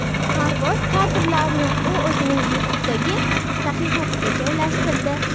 Parvoz kadrlarini u o‘zining YouTube’dagi sahifasiga joylashtirdi .